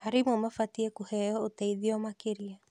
Arimũ mabatie kũheo ũteithio makĩria.